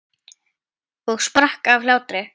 Og sprakk af hlátri.